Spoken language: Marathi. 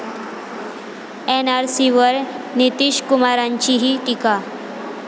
एनआरसीवर नितीशकुमारांचीही टीका